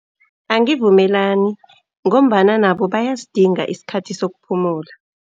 Angivumelani, ngombana nabo bayasidinga isikhathi sokuphumula.